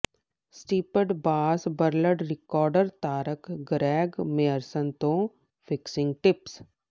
striped bass world record ਧਾਰਕ Greg Myerson ਤੋਂ fishing tips